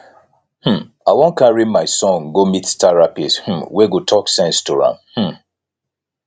um i wan carry my son go meet therapist um wey go talk sense to am um